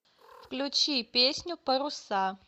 включи песню паруса